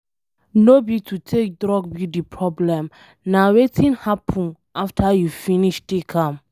No be to take drug be problem na wetin happen after you finish take am.